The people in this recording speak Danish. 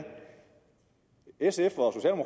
sf